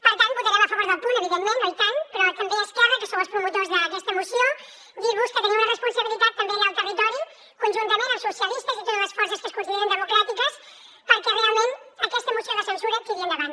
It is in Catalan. per tant votarem a favor del punt evidentment oh i tant però també a esquerra que sou els promotors d’aquesta moció dir vos que teniu una responsabilitat també allà al territori conjuntament amb socialistes i totes les forces que es consideren democràtiques perquè realment aquesta moció de censura tiri endavant